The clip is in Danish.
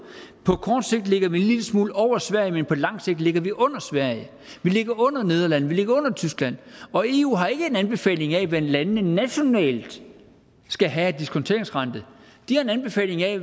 på kort sigt ligger vi en lille smule over sverige men på lang sigt ligger vi under sverige vi ligger under nederlandene vi ligger under tyskland og eu har ikke en anbefaling af hvad landene nationalt skal have af diskonteringsrente de har en anbefaling af